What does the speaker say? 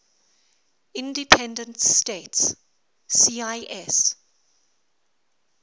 independent states cis